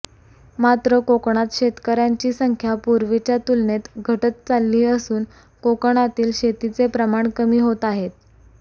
मात्र कोकणात शेतकऱ्यांची संख्या पूर्वीच्या तुलनेत घटत चालली असून कोकणातील शेतीचे प्रमाण कमी होत आहे